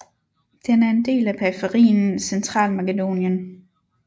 Den er en del af periferien Centralmakedonien